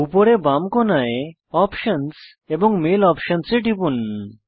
উপরের বাম কোণায় অপশনস এবং মেইল অপশনস এ টিপুন